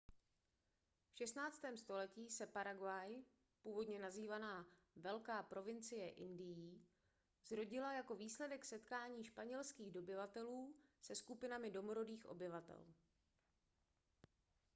v 16. století se paraguay původně nazývaná velká provincie indií zrodila jako výsledek setkání španělských dobyvatelů se skupinami domorodých obyvatel